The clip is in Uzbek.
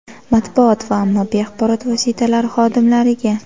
Matbuot va ommaviy axborot vositalari xodimlariga.